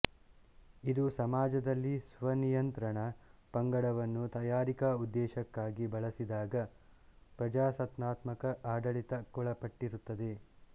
ಇದು ಸಮಾಜದಲ್ಲಿ ಸ್ವನಿಯಂತ್ರಣ ಪಂಗಡವನ್ನು ತಯಾರಿಕಾ ಉದ್ದೇಶಕ್ಕಾಗಿ ಬಳಸಿದಾಗ ಪ್ರಜಾಸತ್ತಾತ್ಮಕ ಆಡಳಿತಕ್ಕೊಳಪಟ್ಟಿರುತ್ತದೆ